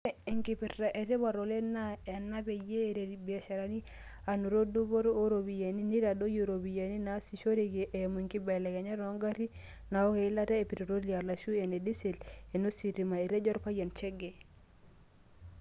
"Ore enkipirta ee tipat oleng ena naa peyie eretu ibiasharani aanoto dupoto ooropiyiani neitadoyio iropiyiani naasishoreki eimu enkibelekenyata oogarin naaok eilatu e petiroli arushu ene disel onositima," Etejo Olpayian Chege.